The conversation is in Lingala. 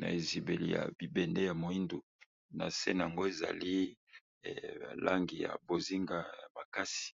na ezibeli ya bibende ya moindu, nase nango ezali langi ya bozinga ya makasi.